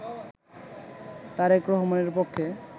তারেক রহমানের পক্ষে